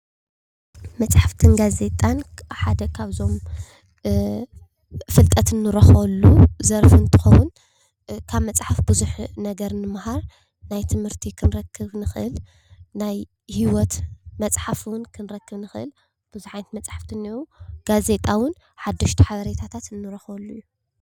መፅሓፍትን ጋዜጣን ሓደ ካብዞም ፍልጠት እንረኽበሉ ዘርፊ እንትኸውን፣ ካብ መፅሓፍ ቡዙሕ ነገር ንመሃር፣ ናይ ትምህርቲ ክንረክብ ንኽእል፣ ናይ ሂወት መፅሓፍ ውን ክንረክብ ንኽእል፣ ብዙሓት መፅሓፍቲ እንየዉ። ጋዜጣ ውን ሓደሽቲ ሓበሬታታት እንረክበሉ እዩ።